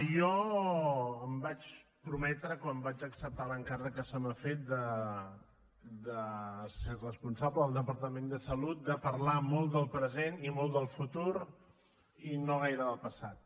jo em vaig prometre quan vaig acceptar l’encàrrec que se m’ha fet de ser responsable del departament de salut de parlar molt del present i molt del futur i no gaire del passat